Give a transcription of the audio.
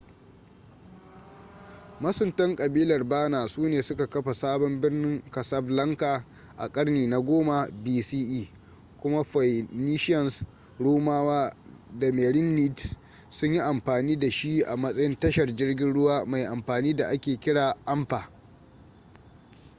masuntan ƙabilar berner su ne suka kafa sabon birnin casablanca a karni na 10 bce kuma phoenicians rumawa da merenids sun yi amfani da shi a matsayin tashar jirgin ruwa mai amfani da ake kira anfa